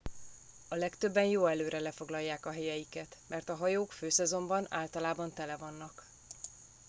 a legtöbben jó előre lefoglalják a helyeiket mert a hajók főszezonban általában tele vannak